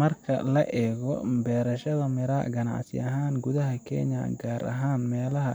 Marka la eego beerashada miraa ganacsi ahaan gudaha Kenya, gaar ahaan meelaha